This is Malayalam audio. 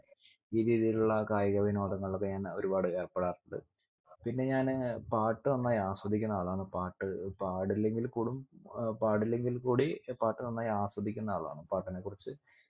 ഈ രീതിയിലുള്ള കായിക വിനോദങ്ങളിലൊക്കെ ഞാൻ ഒരുപാട് ഏർപ്പെടാറുണ്ട് പിന്നെ ഞാന് പാട്ട് നന്നായി ആസ്വദിക്കുന്ന ആളാണ് പാട്ട് പാടില്ലെങ്കിൽ കുടും ഏർ പാടില്ലെങ്കിൽ കൂടി പാട്ട് നന്നായി ആസ്വദിക്കുന്ന ആളാണ് പാട്ടിനെ കുറിച്ച്